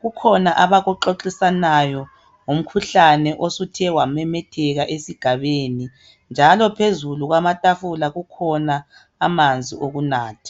Kukhona abakuxoxisanayo ngomkhuhlane osuthe wamemetheka esigabeni njalo phezulu kwamatafula kukhona amanzi okunatha.